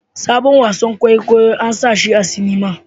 Sabon wasan kwaikwayo ana sashi a cinima